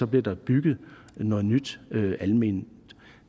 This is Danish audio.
bliver der bygget noget nyt alment